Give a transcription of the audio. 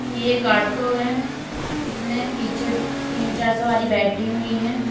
ये एक ऑटो है जिसमें पीछे तीन चार सवारी बैठी हुई हैं।